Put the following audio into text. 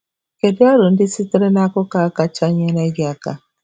Kedu aro ndị sitere n'akụkọ a kacha nyere gị aka?